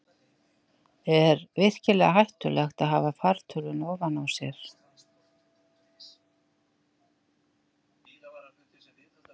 Er virkilega hættulegt að hafa fartölvuna ofan á sér?